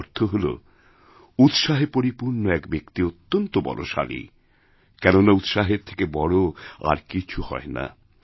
এর অর্থ হল উৎসাহেপরিপূর্ণ এক ব্যক্তি অত্যন্ত বলশালী কেননা উৎসাহের থেকে বড় আর কিছু হয় না